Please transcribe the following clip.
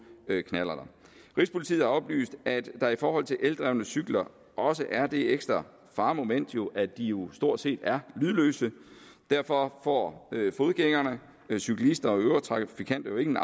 knallerter rigspolitiet har oplyst at der i forhold til eldrevne cykler også er det ekstra faremoment at de jo stort set er lydløse derfor får fodgængere cyklister og øvrige trafikanter jo ingen